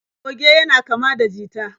Goge yana kama da jita.